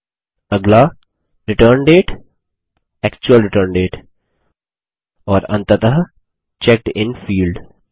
अगला return date actual return date और अंततः चेक्ड इन फील्ड